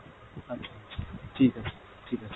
আচ্ছা আচ্ছা ঠিক আছে ঠিক আছে।